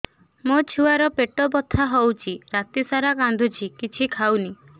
ମୋ ଛୁଆ ର ପେଟ ବଥା ହଉଚି ରାତିସାରା କାନ୍ଦୁଚି କିଛି ଖାଉନି